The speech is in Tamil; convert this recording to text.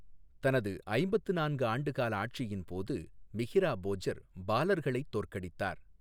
தனது ஐம்பத்து நான்கு ஆண்டு கால ஆட்சியின்போது, மிஹிரா போஜர் பாலர்களைத் தோற்கடித்தார்.